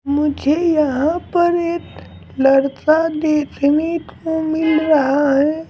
मुझे यहाँ पर एक लड़का देखनी को मिल रहा है।